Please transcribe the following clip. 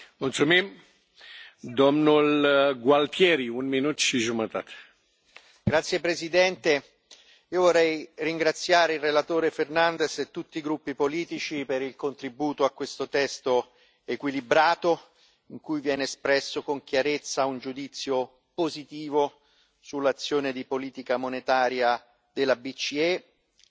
Signor Presidente, onorevoli colleghi, io vorrei ringraziare il relatore Fernández e tutti i gruppi politici per il contributo a questo testo equilibrato, in cui viene espresso, con chiarezza, un giudizio positivo sull'azione di politica monetaria della BCE e si riconosce l'importanza delle misure